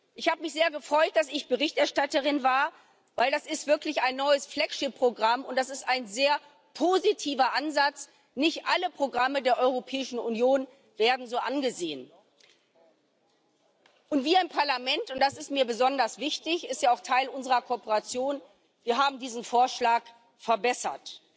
Ich habe mich sehr gefreut, dass ich Berichterstatterin war, weil das wirklich ein neues Flaggschiff Programm ist, und das ist ein sehr positiver Ansatz. Nicht alle Programme der Europäischen Union werden so angesehen. Wir im Parlament und das ist mir besonders wichtig, es ist ja auch Teil unserer Kooperation haben diesen Vorschlag verbessert.